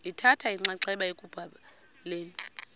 lithatha inxaxheba ekubhaleni